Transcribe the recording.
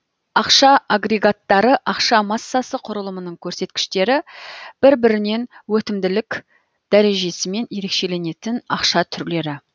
ақша агрегаттары ақша массасы құрылымының көрсеткіштері бір бірінен өтімділік дәрежесімен ерекшеленетін ақша түрлері